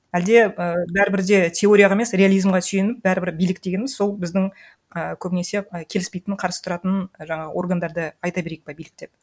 әлде і бәрібір де теорияға емес реализмға сүйеніп бәрібір билік дегеніміз сол біздің ы көбінесе ы келіспейтін қарсы тұратын жаңағы органдарды айта берейік па билік деп